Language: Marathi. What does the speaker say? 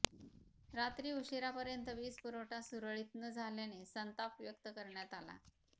रात्री उशिरापर्यंत वीज पुरवठा सुरळीत न झाल्याने संताप व्यक्त करण्यात आला